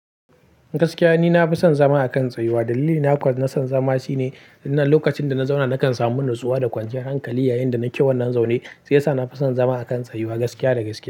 Gaskiya ni na fi son zama a kan tsayuwa. Dalili na kuwa nason zama shine, idan lokacin da na zauna nakan samu natsuwa da kwanciyar hankali. Yayinda nake wannan zaune shiyasa na fi son zama a kan tsayuwa gaskiya da gaskiya.